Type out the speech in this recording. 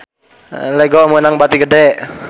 Lego meunang bati gede